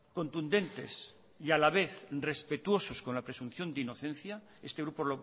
contundentes y a la vez respetuosos con la presunción de inocencia este grupo